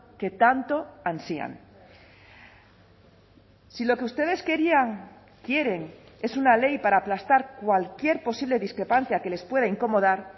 que tanto ansían si lo que ustedes querían quieren es una ley para aplastar cualquier posible discrepancia que les pueda incomodar